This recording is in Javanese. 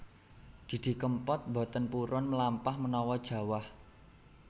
Didi Kempot mboten purun mlampah menawa jawah